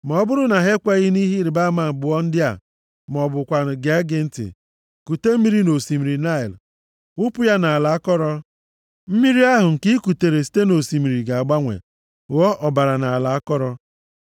Ma ọ bụrụ na ha ekwenyeghị nʼihe ịrịbama abụọ ndị a ma ọ bụkwanụ gee gị ntị; kute mmiri nʼosimiri Naịl, wụpụ ya nʼala akọrọ. Mmiri ahụ nke i kutere site nʼosimiri ga-agbanwe, ghọọ ọbara nʼala akọrọ.”